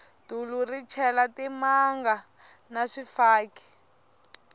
dulu ri chela timanga na swifaki